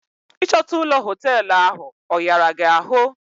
Ị chọta ụlọ hoteelu ahụ, ọ ghara gị ahụ?